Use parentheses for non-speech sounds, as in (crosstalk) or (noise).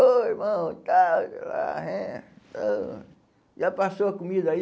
Ô, irmão, (unintelligible) já passou a comida aí?